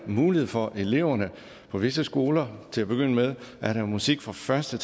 mulighed for eleverne på visse skoler til at begynde med at have musik fra første